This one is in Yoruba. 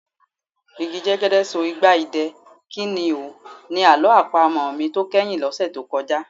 Igi jẹ́gẹ́dẹ́ so igba idẹ, kí ni o? Ni àlọ́ àpamọ̀ mi tó kẹ́yìn lọ́sẹ̀ tó kọjá.